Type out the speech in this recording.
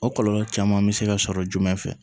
O kɔlɔlɔ caman bɛ se ka sɔrɔ jumɛn fɛ